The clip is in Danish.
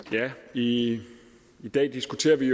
i dag diskuterer vi